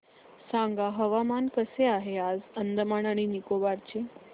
सांगा हवामान कसे आहे आज अंदमान आणि निकोबार चे